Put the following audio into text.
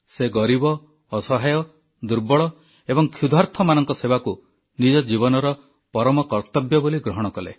ସେ ଗରିବ ଅସହାୟ ଦୁର୍ବଳ ଏବଂ କ୍ଷୁଧାର୍ତମାନଙ୍କ ସେବାକୁ ନିଜ ଜୀବନର ପରମ କର୍ତ୍ତବ୍ୟ ବୋଲି ଗ୍ରହଣ କଲେ